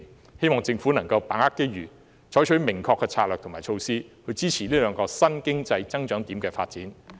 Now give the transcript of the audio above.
我希望政府可以把握機遇，採取明確的策略和措施，支持這兩個新經濟增長點的發展。